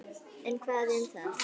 En hvað um það